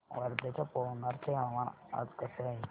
वर्ध्याच्या पवनार चे हवामान आज कसे आहे